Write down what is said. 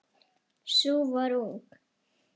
Sú var ung!